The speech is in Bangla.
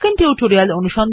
প্রথম ফলাফলটি ক্লিক করুন